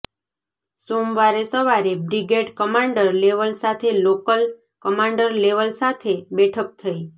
સોમવારે સવારે brigade commander level સાથે લોકલ કમાન્ડર લેવલ સાથે બેઠક થઈ